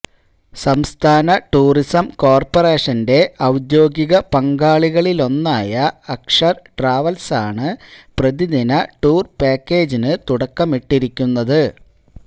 സംസ്ഥാന ടൂറിസം കോർപറേഷന്റെ ഔദ്യോഗിക പങ്കാളികളിലൊന്നായ അക്ഷർ ട്രാവൽസാണ് പ്രതിദിന ടൂർ പാക്കേജിന് തുടക്കമിട്ടിരിക്കുന്നത്